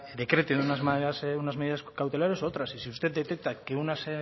decrete unas medidas cautelares u otras y si usted detecta que unas